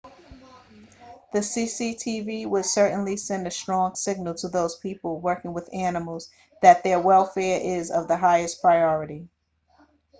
the cctv would certainly send a strong signal to those people working with animals that their welfare is of the highest priority